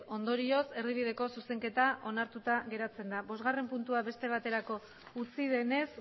ondorioz erdibideko zuzenketa onartuta geratzen da bosgarren puntua beste baterako utzi denez